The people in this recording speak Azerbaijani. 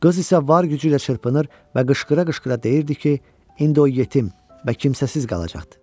Qız isə var gücü ilə çırpınır və qışqıra-qışqıra deyirdi ki, indi o yetim və kimsəsiz qalacaqdı.